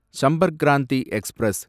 Sampark Kranti express